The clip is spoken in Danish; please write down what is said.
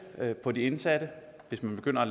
på de indsatte hvis man begynder